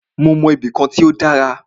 Mó mọ ibì kan tí o dára.